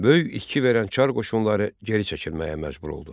Böyük itki verən çar qoşunları geri çəkilməyə məcbur oldu.